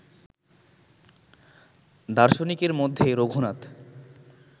দার্শনিকের মধ্যে রঘুনাথ